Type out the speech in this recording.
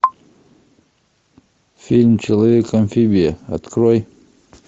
фильм человек амфибия открой